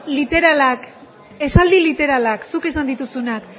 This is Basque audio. literalak esaldi literalak zuk esan dituzunak